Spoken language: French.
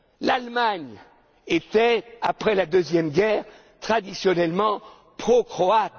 pro serbes. L'Allemagne était, après la Deuxième Guerre,